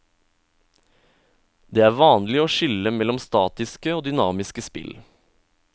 Det er vanlig å skille mellom statiske og dynamiske spill.